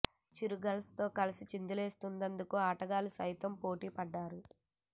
cheer girls తో కలిసి చిందులేసేందుకు ఆటగాళ్లు సైతం పోటీ పడ్డారు